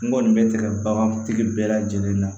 N kɔni bɛ tigɛ bagantigi bɛɛ lajɛlen na